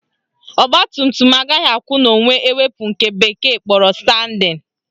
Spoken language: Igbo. Ọgbatumtum agaghị akwụ n'onwe ewepu nke bekee kpọrọ standing